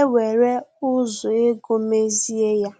ewere ụzọ ego mezie ya